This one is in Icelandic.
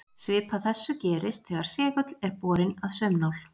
Svipað þessu gerist þegar segull er borinn að saumnál.